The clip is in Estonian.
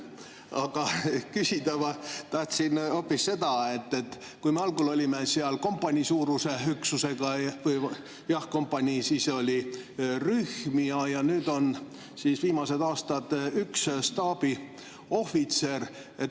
Aga küsida ma tahtsin hoopis selle kohta, et me algul olime seal kompaniisuuruse üksusega, siis oli rühm ja nüüd viimased aastad on olnud üks staabiohvitser.